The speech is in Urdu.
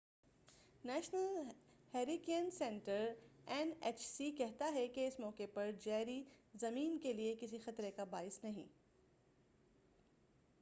National Hurricane Center N H C کہتا ہے کہ اس موقع پر جیری، زمین کے لیے کسی خطرے کا باعث نہیں۔